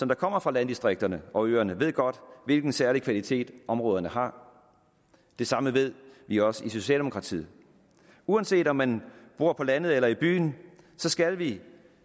der kommer fra landdistrikterne og øerne ved godt hvilken særlig kvalitet områderne har det samme ved vi også i socialdemokratiet uanset om man bor på landet eller i byen skal vi